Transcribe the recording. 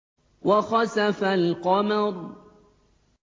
وَخَسَفَ الْقَمَرُ